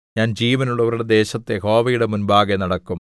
ഞാൻ ജീവനുള്ളവരുടെ ദേശത്ത് യഹോവയുടെ മുമ്പാകെ നടക്കും